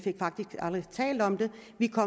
ikke